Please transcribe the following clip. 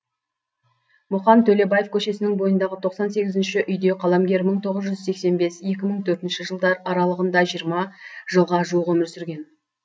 мұқан төлебаев көшесінің бойындағы тоқсан сегізінші үйде қаламгер мың тоғыз жүз сексен бес екі мың төртінші жылдар аралығында жиырма жылға жуық өмір сүрген